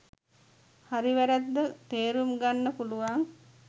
හරි වැරැද්ද තේරුම් ගන්න පුළුවන්